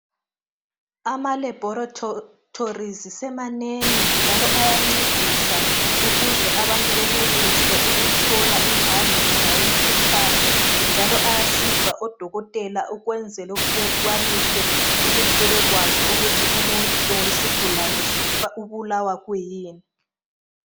Ama laboratories semanengi njalo ayancedisa ukuze abantu benelise ukuthola imbangela yomkhuhlane njalo ayasiza odokotela ukwenzela ukuthi bekwanise ukuthi bebekwazi ukuthi umuntu kumbe isigulane ubulawa kuyini.